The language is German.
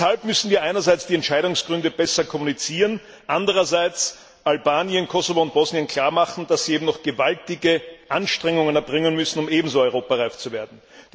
Deshalb müssen wir einerseits die Entscheidungsgründe besser kommunizieren und andererseits Albanien, Kosovo und Bosnien klarmachen, dass sie noch gewaltige Anstrengungen erbringen müssen, um ebenso europareif zu werden.